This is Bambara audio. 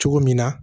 Cogo min na